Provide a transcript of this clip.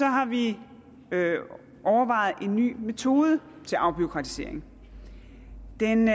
har vi overvejet en ny metode til afbureaukratisering den